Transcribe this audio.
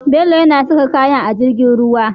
Bello yana saka kayan a jirgin ruwa